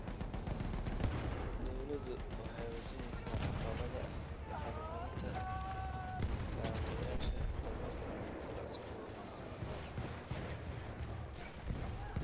Dawladdu waxay wajaheysaa caqabada ah horumarinta kaabayaasha tamarta la cusboonaysiin karo.